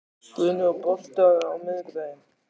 Guðni, er bolti á miðvikudaginn?